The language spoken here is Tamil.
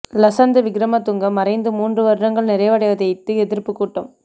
லசந்த விக்கிரமதுங்க மறைந்து மூன்று வருடங்கள் நிறைவடைவதையிட்டு எதிர்ப்புக் கூட்டம்